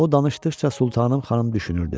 O danışdıqca Sultanım xanım düşünürdü.